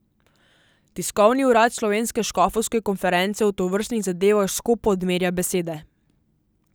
Tiskovni urad Slovenske škofovske konference o tovrstnih zadevah skopo odmerja besede.